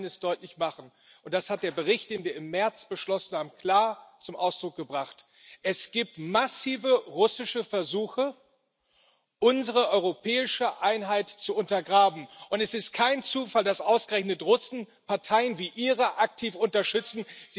Ich will Ihnen eines deutlich machen, und das hat der Bericht, den wir im März beschlossen haben, klar zum Ausdruck gebracht Es gibt massive russische Versuche, unsere europäische Einheit zu untergraben. Und es ist kein Zufall, dass ausgerechnet Russen Parteien wie die Ihre aktiv unterstützen.